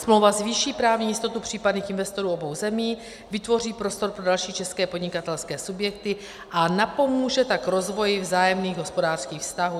Smlouva zvýší právní jistotu případných investorů obou zemí, vytvoří prostor pro další české podnikatelské subjekty a napomůže tak rozvoji vzájemných hospodářských vztahů.